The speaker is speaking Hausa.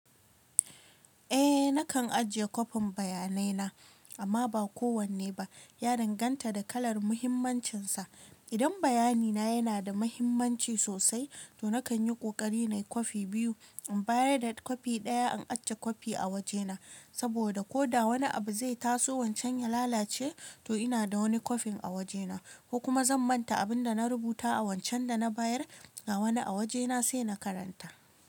Eh nakan ajiye kofin bayanai na amma ba kowanne ba. Ya danganta da kalar muhimmancin sa. Idan bayani na yana da muhimmanci sosai to nakan yi kokari na yi kofi biyu. In bayar da kofi ɗaya an aje kofi a waje na. Saboda ko da wani abu zai taso wancan ya lalace to ina da wani kofin a waje na. Ko kuma zan manta abun da na rubuta a wancan da na bayar ga wani a waje na sai na karanta.